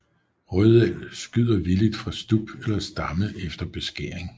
Rødel skyder villigt fra stub eller stamme efter beskæring